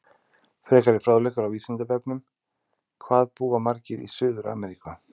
Frekari fróðleikur á Vísindavefnum: Hvað búa margir í Suður-Ameríku?